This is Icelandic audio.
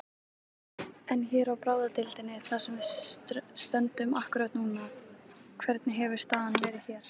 En hér á bráðadeildinni þar sem við stöndum akkúrat núna, hvernig hefur staðan verið hér?